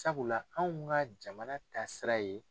Sabula anw ka jamana taasira ye.